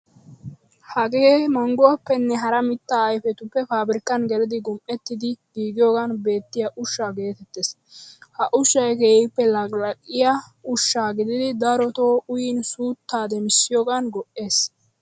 Hagee mangguwaappenne hara mittaa ayfetuppe paabirkkan gelidi gum"ettidi giigiyogan beettiya ushsha geetettees. Ha ushshay keehippe laqilaqiyaa ushsha gididi daroto uyyin suuttaa demissiyogan go'ees.